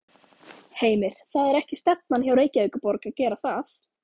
Heimir: Það er ekki stefnan hjá Reykjavíkurborg að gera það?